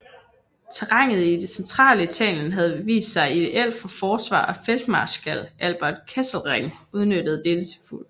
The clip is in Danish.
Terrænet i det centrale Italien havde vist sig ideelt for forsvar og feltmarskal Albert Kesselring udnyttede dette til fulde